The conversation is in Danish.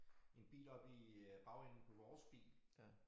En bil op i øh bagenden på vores bil